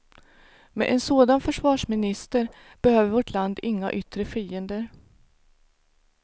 Med en sådan försvarsminister behöver vårt land inga yttre fiender.